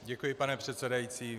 Děkuji, pane předsedající.